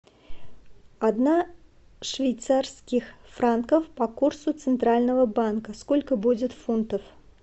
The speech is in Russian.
одна швейцарских франков по курсу центрального банка сколько будет фунтов